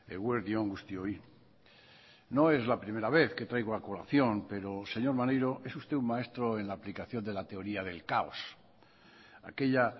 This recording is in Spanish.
eguerdi on guztioi no es la primera vez que traigo a colación pero señor maneiro es usted un maestro en la aplicación de la teoría del caos aquella